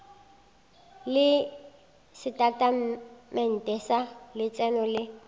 le setatamente sa letseno le